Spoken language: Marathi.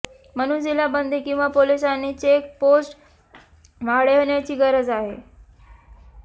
म्हणून जिल्हा बंदी किंवा पोलिसांनी चेक पोस्ट वाढवण्याची गरज आहे